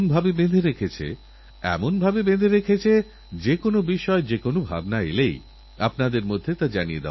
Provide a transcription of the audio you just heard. আমার বিশ্বাস আগামী দিনগুলিতে পুরো দেশজুড়ে ছড়িয়ে যাবেখেলা নিয়ে প্রতিটি তরুণের উ ৎসাহউদ্দীপনার বাতাবরণ